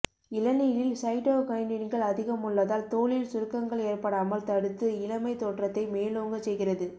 இளநீரில் சைட்டோகைனின்கள் அதிகமுள்ளதால் தோலில் சுருக்கங்கள் ஏற்படாமல் தடுத்து இளமை தோற்றத்தை மேலோங்கச் செய்கிறது